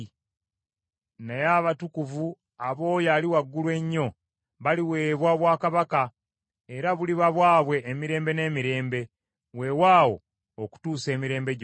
Naye abatukuvu ab’Oyo Ali Waggulu Ennyo baliweebwa obwakabaka, era buliba bwabwe emirembe n’emirembe, weewaawo okutuusa emirembe gyonna.’